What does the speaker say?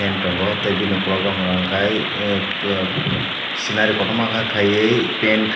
fan tongo tei ungkulukgo hwnka hwnkhe scenary kotorma khe khaiwi paint khaiwi.